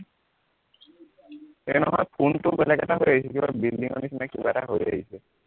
হেৰি নহয় ফোনটো বেলেগ এটা হৈ আহিছে, কিবা building ৰ নিচিনা কিবা এটা হৈ আহিছে